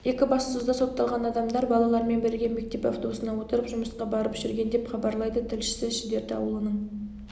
екібастұзда сотталған адамдар балалармен бірге мектеп автобусына отырып жұмысқа барып жүрген деп хабарлайды тілшісі шідерті ауылының